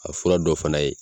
A fura dɔ fana ye